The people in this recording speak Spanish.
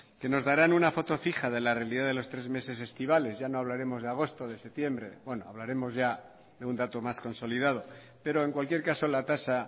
que nos dará una foto fija de la realidad de los tres meses estivales ya no hablaremos de agosto de septiembre bueno hablaremos ya de un dato más consolidado pero en cualquier caso la tasa